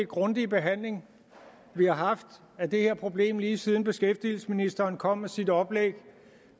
grundige behandling vi har haft af det her problem lige siden beskæftigelsesministeren kom med sit oplæg